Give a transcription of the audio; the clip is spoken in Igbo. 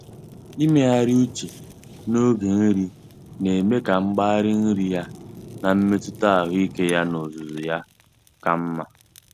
Ịmegharị uche n'oge nri na-eme ka mgbari nri ya na mmetụta ahụike ya n'ozuzu ya ka mma.